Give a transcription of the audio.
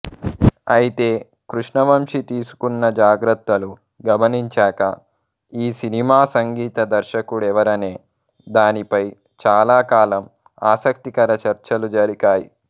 అయితే కృష్ణవంశీ తీసుకున్న జాగ్రత్తలు గమనించాక ఈ సినిమా సంగీత దర్శకుడెవరనే దానిపై చాలా కాలం ఆసక్తికర చర్చలు జరిగాయి